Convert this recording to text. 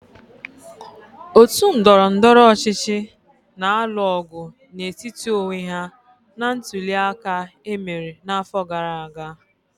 Otu ndọrọndọrọ ọchịchị na-alụ ọgụ n'etiti onwe ha na ntuli aka e mere n'afọ gara aga.